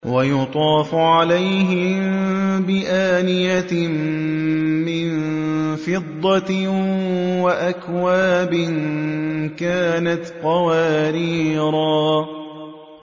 وَيُطَافُ عَلَيْهِم بِآنِيَةٍ مِّن فِضَّةٍ وَأَكْوَابٍ كَانَتْ قَوَارِيرَا